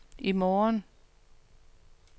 i morgen